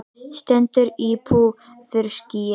Stendur í púðurskýi.